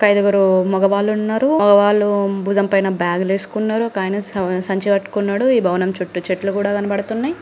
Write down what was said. ఒక ఐదుగురు మగవాళ్ళు ఉన్నారు వాళ్ళ భుజంపైన బ్యాగ్లు ఏసుకున్నారు ఒకాయన సావ్-సంచి పట్టుకున్నాడు ఈ భవనం చుట్టూ చెట్లు కూడా కనపడుతున్నాయి.